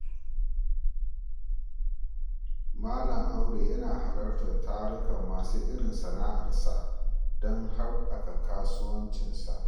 Malam Audu yana halartar tarukan masu irin sana’arsa don habaka kasuwancinsa.